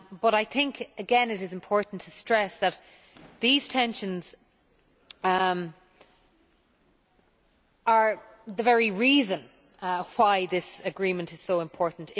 I think again it is important to stress that these tensions are the very reason why this agreement is so important.